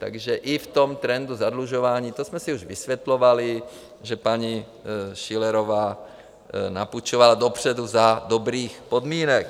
Takže i v tom trendu zadlužování - to jsme si už vysvětlovali, že paní Schillerová napůjčovala dopředu za dobrých podmínek.